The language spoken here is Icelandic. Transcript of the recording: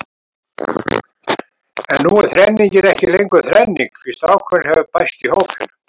En nú er þrenningin ekki lengur þrenning því strákurinn hefur bæst í hópinn.